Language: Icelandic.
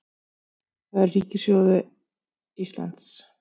Það er ríkissjóði Íslands